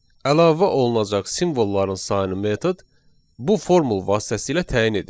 Əlavə olunacaq simvolların sayını metod bu formul vasitəsilə təyin edir.